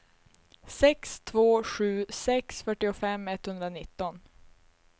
sex två sju sex fyrtiofem etthundranitton